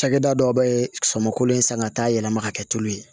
Cakɛda dɔw bɛ sɔmin kolo ye san ka taa yɛlɛma ka kɛ tulu ye